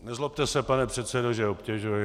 Nezlobte se, pane předsedo, že obtěžuji.